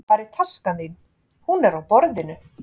Hvar er taskan þín? Hún er á borðinu.